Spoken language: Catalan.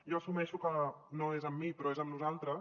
jo assumeixo que no és amb mi però és amb nosaltres